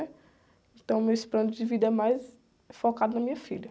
Então, o meus planos de vida é mais focado na minha filha.